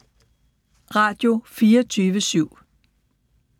Radio24syv